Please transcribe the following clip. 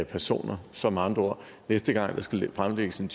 personer så med andre ord næste gang der skal fremlægges en